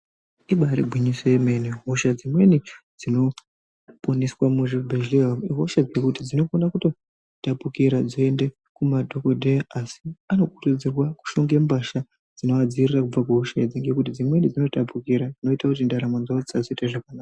Ibari gwinyiso yemene. Hosha dzimweni dzinoponeswe muzvibhehlera ihosha dzinokona kutotapukira dzeiende kumadhokodheya asi anokurudzirwa kuhlonga mbasha dzinoadziirira kubva kuhosha idzi ngekuti dzimweni dzinotapukira zvinoita kuti ndaramo dzawo dzisazoita zvakanaka.